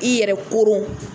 I yɛrɛ koron